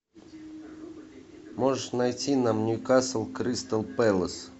можешь найти нам ньюкасл кристал пэлас